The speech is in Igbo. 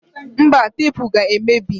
Mba, tepu ga emebi